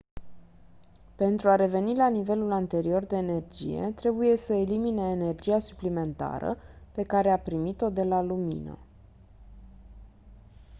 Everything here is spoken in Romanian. pentru a reveni la nivelul anterior de energie trebuie să elimine energia suplimentară pe care a primit-o de la lumină